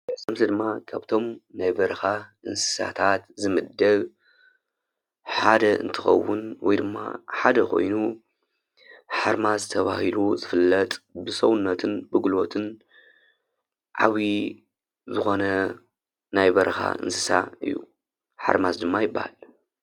እዚ ድማ ካብ'ቶም ናይ በረካ እንስሳታት ዝምደብ ሓደ እንትከውን ወይ ድማ ሓደ ኮይኑ ሓርማዝ ተባሂሉ ዝፍለጥ ብሰውነትን ብጉልበትን ዓብዪ ዝኮነ ናይ በረካ እንስሳ እዩ። ሓርማዝ ድማ ይበሃል።